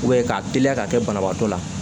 k'a teliya ka kɛ banabaatɔ la